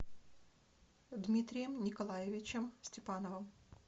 дмитрием николаевичем степановым